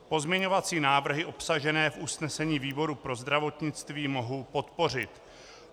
Pozměňovací návrhy obsažené v usnesení výboru pro zdravotnictví mohu podpořit.